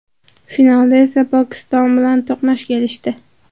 Finalda esa Pokiston bilan to‘qnash kelishdi.